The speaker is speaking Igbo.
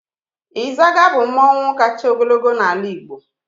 Ịzaga bụ mmọnwụ kacha ogologo n'ala Igbo.